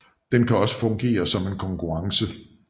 Den kan også fungere som en konkurrence